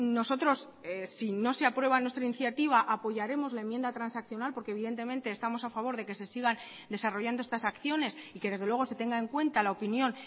nosotros si no se aprueba nuestra iniciativa apoyaremos la enmienda transaccional porque evidentemente estamos a favor de que se sigan desarrollando estas acciones y que desde luego se tenga en cuenta la opinión